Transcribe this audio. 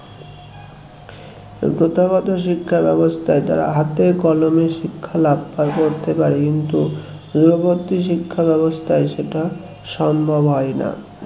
প্রথাগত শিক্ষা ব্যবস্থায় তারা হাতে কলমে শিক্ষা লাভ করতে পারে কিন্তু দূরবর্তী শিক্ষা ব্যবস্থায় সেটা সম্ভব হয় না